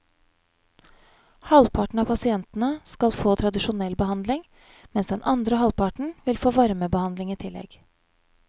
Halvparten av pasientene skal få tradisjonell behandling, mens den andre halvparten vil få varmebehandling i tillegg.